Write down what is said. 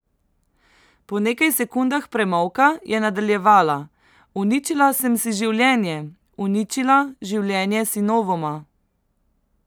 Po nekaj sekundah premolka je nadaljevala: "Uničila sem si življenje, uničila življenje sinovoma.